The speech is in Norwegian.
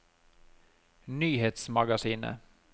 nyhetsmagasinet